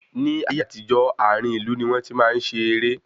Ní ayé àtijó, àárín ìlú ní wọn tí máa ń ṣe ere